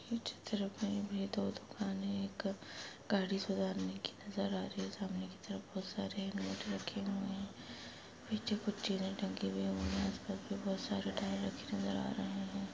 इस चित्र मे भी दो दुकान हैं एक गाड़ी सुधारने की नजर आ रही हैं सामने की तरफ बहुत सारे नोट रखे हुए पीछे कुछ चीजे टंगी हुई आसपास मे बहुत सारे टायर रखे नजर आ रहे हैं।